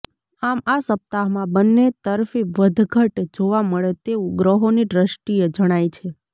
આમ આ સપ્તાહમાં બંને તરફી વધઘટ જોવા મળે તેવું ગ્રહોની દૃષ્ટિએ જણાય છે